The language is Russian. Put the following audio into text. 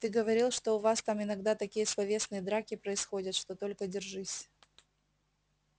ты говорил что у вас там иногда такие словесные драки происходят что только держись